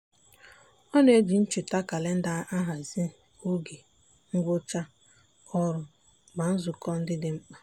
ọ na-eji ncheta kalenda ahazi oge ngwụcha ọrụ na nzukọ ndị dị mkpa.